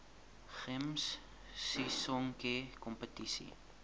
gems sisonke kompetisie